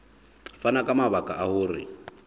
fana ka mabaka a hore